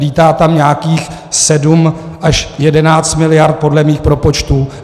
Lítá tam nějakých 7 až 11 miliard podle mých propočtů.